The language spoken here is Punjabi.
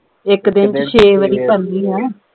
ਇਕ ਦਿਨ ਛੇ ਵਾਰ ਕਰਨੀ ਆ